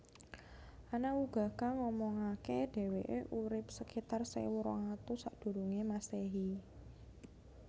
Ana uga kang ngomongake deweke urip sekitar sewu rong atus Sakdurunge Masehi